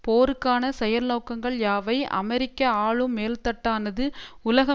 போருக்கான செயல்நோக்கங்கள் யாவை அமெரிக்க ஆளும் மேல்தட்டானது உலக